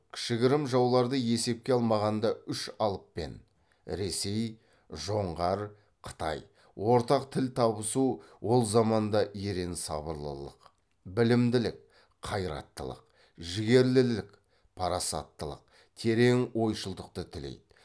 кішігірім жауларды есепке алмағанда үш алыппен ортақ тіл табысу ол заманда ерен сабырлылық білімділік қайраттылық жігерлілік парасаттылық терең ойшылдықты тілейді